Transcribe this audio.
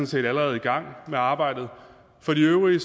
set allerede i gang med arbejdet for de øvrige